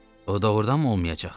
O doğurdanmı olmayacaq?